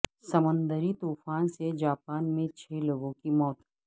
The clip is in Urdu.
سمندری طوفان سے جاپان میں چھ لوگوں کی موت